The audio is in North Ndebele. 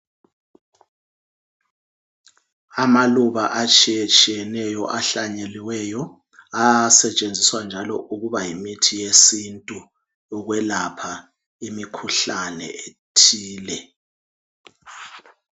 Amaluba atshiyetshiyeneyo ahlanyeliweyo. Asetshenziswa njalo ukuba yimithi yesintu ukwelapha imikhuhlane ethile.